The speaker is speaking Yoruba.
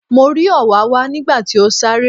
Mo rí òwáwá nígbà tí ó sáré.